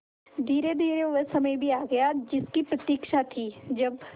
धीरेधीरे वह समय भी आ गया जिसकी प्रतिक्षा थी जब